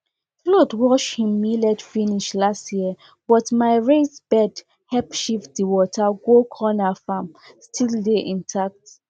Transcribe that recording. flood wash him millet finish last year but my raised bed help shift the water go cornerfarm still dey intact